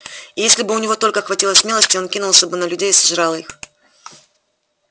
и если бы у него только хватило смелости он кинулся бы на людей и сожрал их